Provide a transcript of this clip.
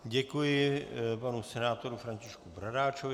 Děkuji panu senátorovi Františku Bradáčovi.